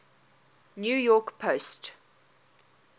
new york post